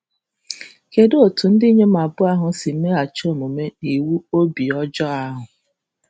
Kedụ etu ndị inyom ahụ si meghachi omume n’iwu obi ọjọọ ahụ?